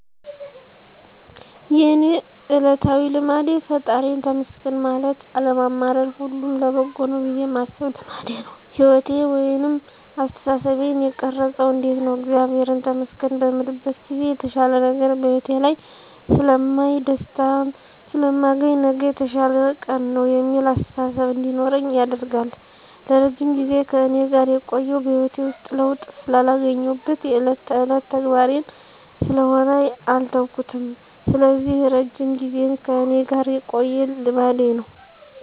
የእኔ እለታዊ ልማዴ ፈጣሪየን ተመስገን ማለት አለማማረር ሁሉም ለበጎ ነው ብየ ማሰብ ልማዴ ነው። ህይወቴን ወይንም አስተሳሰቤን የቀረፀው እንዴት ነው እግዚአብሔርን ተመስገን በምልበት ጊዜ የተሻለ ነገር በህይወቴ ላይ ስለማይ፣ ደስታን ስለማገኝ፣ ነገ የተሻለ ቀን ነው የሚል አስተሳሰብ እንዲኖረኝ ያደርጋል። ለረጅም ጊዜ ከእኔ ጋር የቆየው በህይወቴ ውስጥ ለውጥ ስላገኘሁበት የእለት ተእለት ተግባሬ ስለሆነ አልተውኩትም ስለዚህ እረጅም ጊዜን ከእኔ ጋር የቆየ ልማዴ ነው።